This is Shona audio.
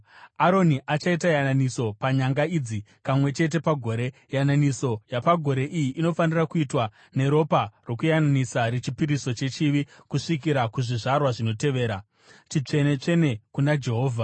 Aroni achaita yananiso panyanga idzi kamwe chete pagore. Yananiso yapagore iyi inofanira kuitwa neropa rokuyananisa rechipiriso chechivi kusvikira kuzvizvarwa zvinotevera. Chitsvene-tsvene kuna Jehovha.”